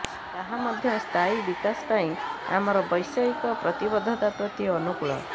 ତାହା ମଧ୍ୟ ସ୍ଥାୟୀ ବିକାଶ ପାଇଁ ଆମର ବୈଶ୍ୱିକ ପ୍ରତିବଦ୍ଧତା ପ୍ରତି ଅନୁକୂଳ